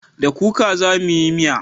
Da kuka za mu yi miya